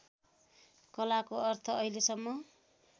कलाको अर्थ अहिलेसम्म